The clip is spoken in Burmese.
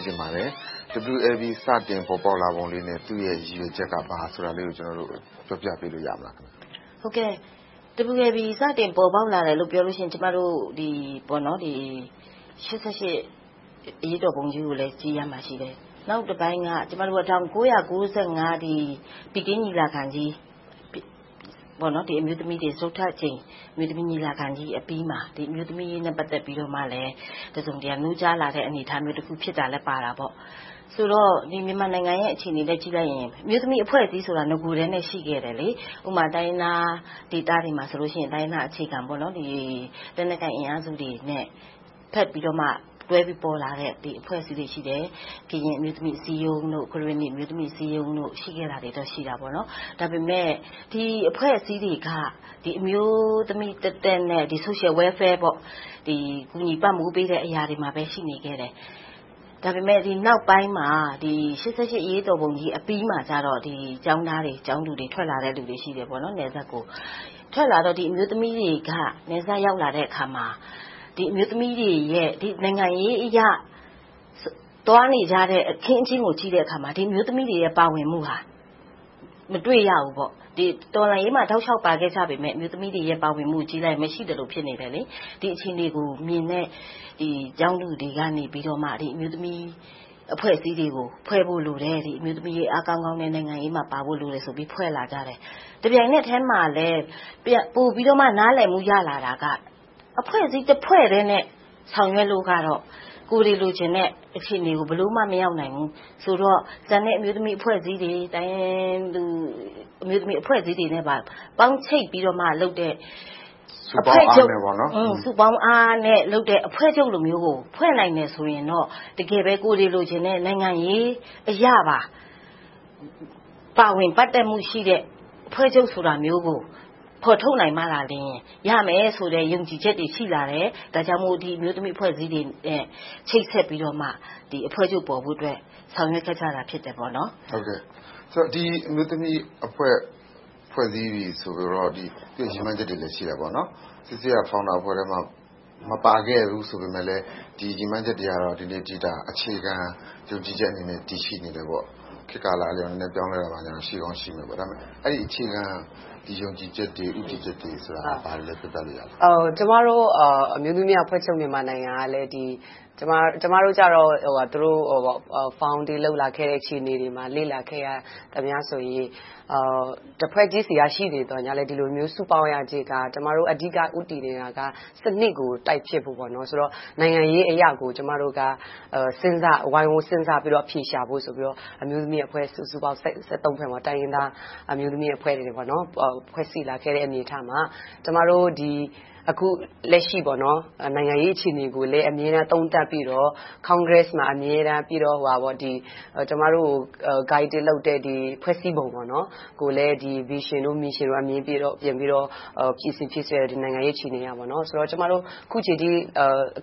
းချင်ပါတယ်။ WLB စတင်ပေါ်ပေါက်လာပုံလေးနဲ့ သူ့ရဲ့ ရည်ရွယ်ချက်က ဘာလဲဆိုတာလေးကို ပြောပြပေးလို့ ရမလား။ ဖြေ ။ ။ WLB စတင် ပေါ်ပေါက်လာတယ်လို့ ပြောမယ်ဆိုရင် ကျမတို့ ရှစ်ဆယ့်ရှစ် အရေးတော်ပုံကြီးကို ကြည့်ရမှာရှိတယ်။ နောက်တပိုင်းက ကျမတို့က ၁၉၅၅ ဘေဂျင်းညီလာခံကြီး စတုတ္ထအကြိမ် အမျိုးသမီးညီလာခံကြီးအပြီးမှာ အမျိုးသမီးအရေးနဲ့ ပတ်သက်ပြီးတော့မှ တစုံတရာ နိုးကြားလာတဲ့ အနေအထားလည်းဖြစ်တာ ပါတာပေါ့။ ဆိုတော့ မြန်မာနိုင်ငံအခြေအနေနဲ့ ကြည့်လိုက်ရင် အမျိုးသမီးအဖွဲ့အစည်းဆိုတာ နဂိုကတည်းက ရှိခဲ့တယ်။ ဥပမာ တိုင်းရင်းသားဒေသတွေမှာဆိုရင် တိုင်းရင်းသားအခြေခံ၊ လက်နက်ကိုင်အင်အားစုတွေနဲ့ တွဲဘက်ပြီးတော့ ပေါ်လာတဲ့ အဖွဲ့အစည်းတွေ ရှိတယ်။ ကရင်အမျိုးသမီးအစည်းအရုံး၊ ကရင်နီအမျိုးသမီးအစည်းအရုံး ရှိခဲ့တာတွေတော့ ရှိခဲ့တယ်။ ဒါပေမဲ့ ဒီအဖွဲ့အစည်းတွေက အမျိုးသမီးသက်သက်နဲ့ Social Welfare ကူညီပံ့ပိုးပေးတဲ့နေရာတွေမှာပဲ ရှိနေခဲ့တယ်။ ဒါပေမဲ့ ဒီနောက်ပိုင်းမှာ ရှစ်ဆယ့်ရှစ် အရေးတော်ပုံကြီးအပြီးမှာကြတော့ ထွက်လာတဲ့ ကျောင်းသားကျောင်းသူတွေက နယ်စပ်ကိုထွက်လာတော့ အမျိုးသမီးတွေက နယ်စပ်ရောက်လာတဲ့အခါမှာ နိုင်ငံရေးအရ သွားနေကြတဲ့ အခင်းအကျင်းကို ကြည့်တဲ့အခါမှာ အမျိုးသမီးတွေရဲ့ ပါဝင်မှုကို မတွေ့ရဘူး။ တော်လှန်ရေးမှာ တောက်လျှောက်ပါခဲ့ကြပေမယ့် အမျိုးသမီးတွေရဲ့ ပါဝင်မှုကိုကြည့်လိုက်ရင် ပါဝင်မှုမရှိသလို ဖြစ်နေတယ်။ ဒီအခြေအနေကိုမြင်တဲ့ ကျောင်းသူတွေက အမျိုးသမီးအဖွဲ့အစည်းတွေဖွဲ့ဖို့လိုတယ်။ အမျိုးသမီးတွေ အားကောင်းကောင်းနဲ့ နိုင်ငံရေးမှာပါဖို့လိုတယ်ဆိုပြီးတော့ ဖွဲ့လာကြတယ်။ တပြိုင်နက်ထဲမှာ ပိုပြီးနားလည်မှု ရလာတာက အဖွဲ့အစည်းတဖွဲ့တည်းနဲ့ ဆောင်ရွက်လို့ကတော့ ကိုယ်တွေလိုချင်ကြတဲ့ အခြေအနေကို ဘယ်လိုမှ မရောက်နိုင်ဘူးဆိုတော့ ကျန်တဲ့အမျိုးသမီးအဖွဲ့အစည်းတွေ တိုင်းရင်းသူအမျိုးသမီးအဖွဲ့အစည်းတွေနဲ့ပါ ပေါင်းချိတ်ပြီးတော့မှလုပ်တဲ့ စုပေါင်းအားနဲ့လုပ်တဲ့ အဖွဲ့ချုပ်လိုမျိုးကို ဖွဲ့နိုင်တယ်ဆိုရင်တော့ တကယ်ပဲ ကိုယ်တွေလိုချင်တဲ့ နိုင်ငံရေးအရပါ ပါဝင်ပတ်သက်တဲ့ အဖွဲ့ချုပ်ဆိုတာမျိုးကို ဖော်ထုတ်နိုင်မှသာ ရမယ်ဆိုတဲ့ ယုံကြည်ချက်တွေ ရှိလာတယ်။ ဒါကြောင့်မို့ ဒီအမျိုးသမီးအဖွဲ့အစည်းတွေနဲ့ ချိတ်ဆက်ပြီးတော့မှ အဖွဲ့ချုပ်ပေါ်ဖို့အတွက် ဆောင်ရွက်ခဲ့တာ ဖြစ်ပါတယ်။ မေး ။ ။ ဒီအမျိုးသမီးအဖွဲ့ ဖွဲ့စည်းပြီးပြီဆိုတော့ သူ့ရည်မှန်းချက်တွေလည်း ရှိတာပေါနော်။ နော်ဆဲဆဲ က Founder အဖွဲ့ထဲမှာ မပါခဲ့ဘူးဆိုပေမယ့် ဒီရည်မှန်းချက်တွေက ဒီနေ့အထိ အခြေခံယုံကြည်ချက်အနေနဲ့ တည်ရှိနေတယ်ပေါ့။ ခေတ်ကာလအပြောင်းအလဲကြောင့် အပြောင်းအလဲနည်းနည်း ရှိကောင်းရှိမယ်။ အဲဒီအခြေခံ ယုံကြည်ချက်တွေ၊ ဦးတည်ချက်တွေဆိုတာ ဘာတွေလဲ ပြောပြလို့ရမလား။ ဖြေ ။ ။ ကျမတို့ အမျိုးသမီးအဖွဲ့ချုပ် မြန်မာနိုင်ငံက ကျမတို့ကြတော့ သူတို့ တည်ထောင်ခဲ့တဲ့အပေါ်ကို လေ့လာခဲ့တာ တဖွဲ့ချင်းအနေနဲ့ ရှိနေခဲ့ပြီး၊ ဒီလိုမျိုး စုပေါင်းရခြင်းက အဓိကဦးတည်နေတာက စနစ်ကို တိုက်ဖျက်ဖို့၊ နိုင်ငံရေးအရကို ကျမတို့က ဝိုင်းဝန်းစဉ်းစားပြီးတော့ အဖြေရှာဖို့ဆိုပြီးတော့ အမျိုးအဖွဲ့ စုစုပေါင်း ဖွဲ့မှာ တိုင်းရင်းသားအမျိုးသမီးအဖွဲ့တွေ ဖွဲ့စည်းလာတဲ့အနေအထားမှာ ကျမတို့ အခုလက်ရှိ နိုင်ငံရေးအခြေအနေကိုလည်း သုံးသပ်ပြီးတော့ Congress မှာ အမြဲတမ်း၊ ပြီးတော့ ကျမတို့ကို Guiding လုပ်တဲ့ ဖွဲ့စည်းပုံကိုလည်း Vision, Mission တို့ကို ပြင်ဆင်ပြီး လုပ်ခဲ့ပေမယ့် အခုအချိန်အထိ